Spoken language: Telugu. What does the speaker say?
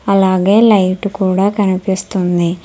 అలాగే లైట్ కూడా కనిపిస్తుంది.